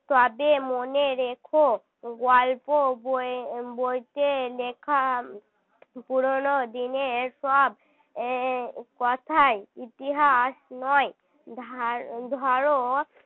তবে মনে রেখো গল্প বই~ বইতে লেখা পুরনো দিনের সব কথাই ইতিহাস নয় ধা~ ধর